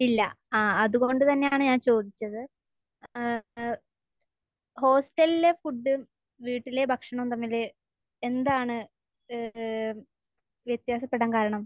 ഇല്ല. ആ. അത്കൊണ്ട് തന്നെയാണ് ഞാൻ ചോദിച്ചത്. ഏഹ്. ഏഹ്. ഹോസ്റ്റലിലെ ഫുഡും വീട്ടിലെ ഭക്ഷണവും തമ്മിൽ എന്താണ് ഏഹ് വ്യത്യാസപ്പെടാൻ കാരണം?